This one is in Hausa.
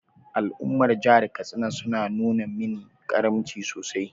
Al’ummar jihar Katsina sun nuna mini karamci sosai.